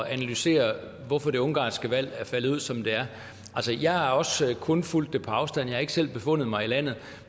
at analysere hvorfor det ungarske valg er faldet ud som det er jeg har også kun fulgt det på afstand jeg har ikke selv befundet mig i landet